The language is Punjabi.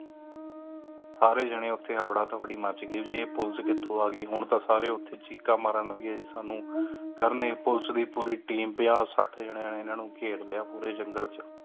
ਸਾਰੇ ਜਣੇ ਉੱਤੇ ਹਬੜਾ ਤਬੜੀ ਮੱਚ ਗਈ ਜੀ ਪੁਲਿਸ ਕਿਥੋਂ ਆ ਗਯੀ ਹੁਣ ਤਾਂ ਸਾਰੇ ਓਥੇ ਚੀਕਾਂ ਮਾਰਨ ਲੱਗੀ ਸਾਨੂ ਪੁਲਿਸ ਦੀ ਪੂਰੀ team ਪੰਜਾਂ ਸੱਠ ਜਣੇ ਇਨਾ ਨੂੰ ਘੇਰ ਲਿਆ ਪੂਰੇ ਜੰਗਲ ਚ